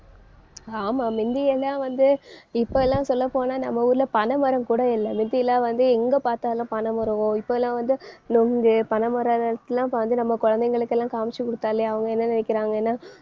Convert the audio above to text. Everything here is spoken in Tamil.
ஆமா முந்தியெல்லாம் வந்து இப்ப எல்லாம் சொல்லப்போனா நம்ம ஊர்ல பனைமரம் கூட இல்லை. முத்தியெல்லாம் வந்து எங்க பார்த்தாலும் பனைமரமோ இப்ப எல்லாம் வந்து நுங்கு பனைமரம் இப்ப வந்து நம்ம குழந்தைகளுக்கு எல்லாம் காமிச்சு குடுத்தாலே அவங்க என்ன நினைக்கிறாங்கன்னா